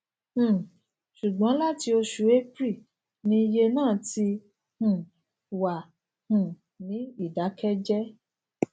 um ṣùgbọn láti oṣù april ni iye náà ti um wà um ní ìdákẹjẹẹ